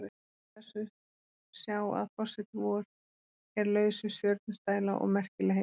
Og má af þessu sjá að forseti vor er laus við stjörnustæla og merkilegheit.